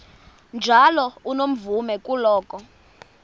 njalo unomvume kuloko